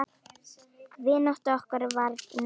Vinátta okkar varð náin.